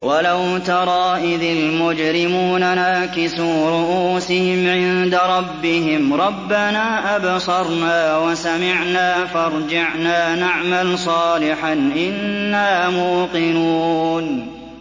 وَلَوْ تَرَىٰ إِذِ الْمُجْرِمُونَ نَاكِسُو رُءُوسِهِمْ عِندَ رَبِّهِمْ رَبَّنَا أَبْصَرْنَا وَسَمِعْنَا فَارْجِعْنَا نَعْمَلْ صَالِحًا إِنَّا مُوقِنُونَ